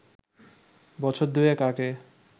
বছর দুয়েক আগে